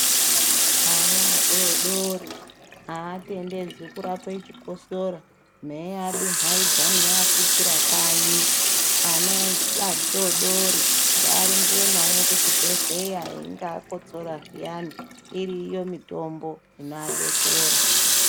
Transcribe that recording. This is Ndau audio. Ana adodori av atendedzwo kurape chikorosora meiadumbaidza meiafukira kanyi ana adodori ngarumbiwo bmnaqi kuchibhedhleya einge akosor zviyani iriyo mitombo inoaderesera.